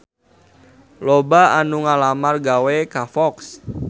Loba anu ngalamar gawe ka Fox